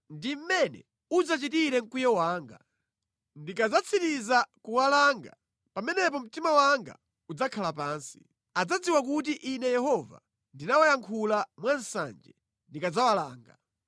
“Ndi mmene udzachitire mkwiyo wanga. Ndikadzatsiriza kuwalanga, pamenepo mtima wanga udzakhala pansi. Adzadziwa kuti Ine Yehova ndinawayankhula mwa nsanje ndikadzawalanga.